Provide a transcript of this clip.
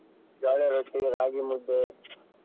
ಜೋಳದ ರೊಟ್ಟಿ, ರಾಗಿ ಮುದ್ದೆ.